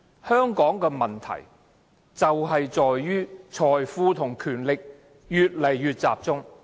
香港的問題正在於財富和權力越來越集中。